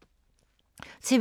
TV 2